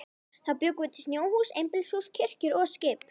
Þá bjuggum við til snjóhús, einbýlishús, kirkjur og skip.